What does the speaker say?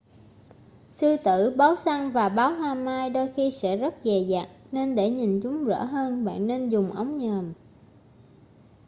sư tử báo săn và báo hoa mai đôi khi sẽ rất dè dặt nên để nhìn chúng rõ hơn bạn nên dùng ống nhòm